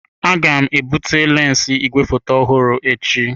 Aga m ebute lensi igwefoto ọhụrụ echi.